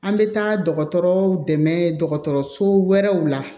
An bɛ taa dɔgɔtɔrɔw dɛmɛ dɔgɔtɔrɔso wɛrɛw la